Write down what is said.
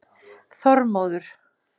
Þormóður